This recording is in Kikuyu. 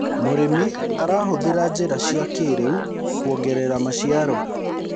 mũrĩmi arahuthira njira cia kĩiriu kuongerera maciaro